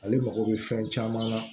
Ale mago bɛ fɛn caman na